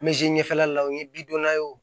ɲɛfɛla la o ye bidɔnna ye wo